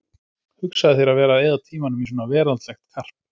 Hugsaðu þér að vera að eyða tímanum í svona veraldlegt karp!